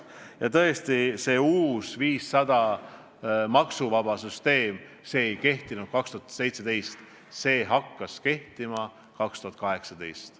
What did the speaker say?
Ja tõesti, see uus tulumaksuvaba 500 euro süsteem ei kehtinud 2017. aastal, see hakkas kehtima aastal 2018.